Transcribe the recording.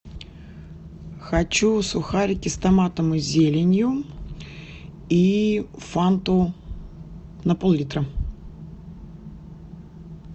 хочу сухарики с томатом и зеленью и фанту на поллитра